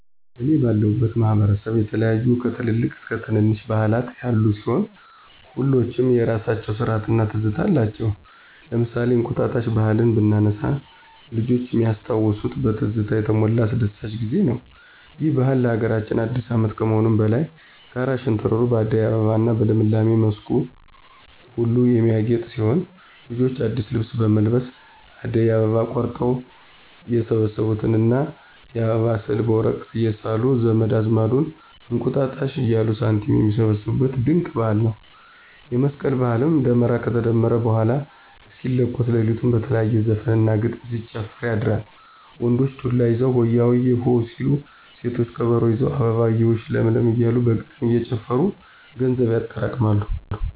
እኔ ባለሁበት ማህበረሰብ የተለያዩ ከትልልቅ እስከ ትነነሽ ባህላት ያሉ ሲሆን ሁሎችም የየራሳቸው ስርአት እና ትዝታ አላቸው። ለምሳሌ እንቁጣጣሽ ባህልን ብናነሳ ልጅነት ሚያስታውስ በትዝታ የተሞላ አስደሳች ጊዜ ነው። ይህ ባህል ለሀገራችን አዲስ አመት ከመሆኑም በላይ ጋራ ሸንተረሩ በአደይ አበባ እና በልምላሜ መስኩ ሁሉ የሚያጌጥ ሲሆን ልጆች አዲስ ልብስ በመልበስ አደይ አበባ ቆርጠው የሰበሰቡትን እና የአበባ ስዕል በወረቀት እየሳሉ ዘመድ አዝማዱን እንቁጣጣሽ እያሉ ሳንቲም ሚሰበስቡት ድንቅ ባህል ነው። የመስቀል ባህልም ደመራ ከተደመረ በኃላ እስኪለኮስ ለሊቱን በተለያየ ዘፈን እና ግጥም ሲጨፈር ያድራል። ወንዶች ዱላ ይዘው ሆያሆየ... ሆ ሲሉ ሴቶች ከበሮ ይዘው አበባየሁሽ ለምለም እያሉ በግጥም እየጨፈሩ ገንዘብ ያጠራቅማሉ።